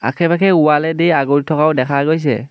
আশে-পাশে ৱালেদি আগুৰি থকাও দেখা গৈছে।